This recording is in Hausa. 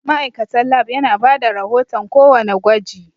Ma'aikatan Lab yana bada rahoton ko wanna gwaji